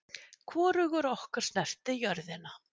Hvorugur okkar snerti jörðina.